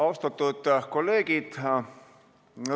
Austatud kolleegid!